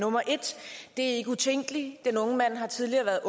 nummer et det er ikke utænkeligt den unge mand har tidligere været